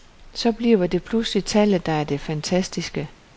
Så bliver det pludselig tallet der er det fantastiske.